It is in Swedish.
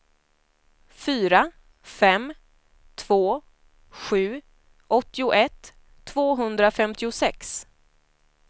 fyra fem två sju åttioett tvåhundrafemtiosex